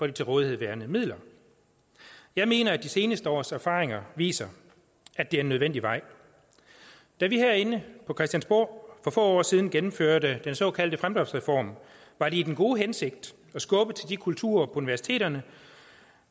de til rådighed værende midler jeg mener at de seneste års erfaringer viser at det er en nødvendig vej da vi herinde på christiansborg for få år siden gennemførte den såkaldte fremdriftsreform var det i den gode hensigt at skubbe til den kultur på universiteterne